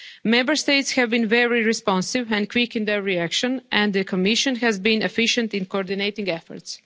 supplies. Member States have been very responsive and quick in their reaction, and the Commission has been efficient in coordinating